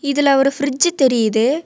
இதுல ஒரு பிரிட்ஜ் தெரியுது.